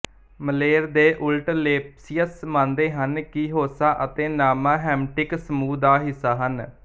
ਮਲੇਰ ਦੇ ਉਲਟ ਲੇਪਸੀਅਸ ਮੰਨਦੇ ਸਨ ਕਿ ਹੌਸਾ ਅਤੇ ਨਾਮਾ ਹਮਿੱਟਿਕ ਸਮੂਹ ਦਾ ਹਿੱਸਾ ਸਨ